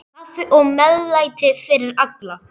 Kaffi og meðlæti fyrir alla.